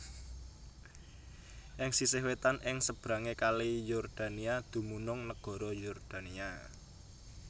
Ing sisih wétan ing sebrangé Kali Yordania dumunung nagara Yordania